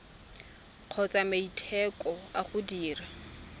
kgotsa maiteko a go dira